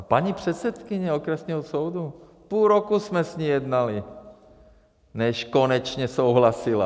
A paní předsedkyně okresního soudu, půl roku jsme s ní jednali, než konečně souhlasila.